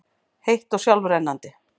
heitt og sjálfrennandi.